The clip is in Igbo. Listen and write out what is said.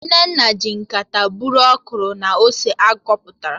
Nneoma ji nkata bụrụ ọkwụrụ na ose a kpọpụta